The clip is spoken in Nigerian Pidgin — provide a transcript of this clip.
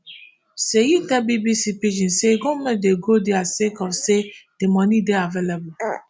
seyi tell bbc pidgin say goment dey go dia sake of say di money dey available